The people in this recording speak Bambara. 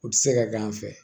U tɛ se ka k'an fɛ